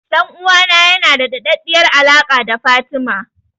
Ɗan'uwana yana da daɗaɗɗiyar alaƙa da Fatima.